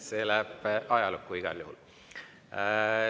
See läheb ajalukku igal juhul.